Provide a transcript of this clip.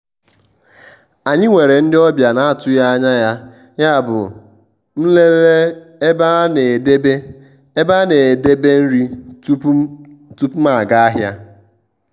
anyị nwere ndị ọbịa na-atụghị anya ya yabụ m lelee ebe a na-edebe ebe a na-edebe nri tupu m aga ahịa.